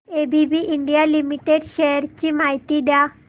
ABB India limited shares ची माहिती द्या